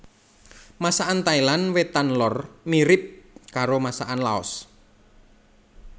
Masakan Thailand Wétan lor mirip karo masakan Laos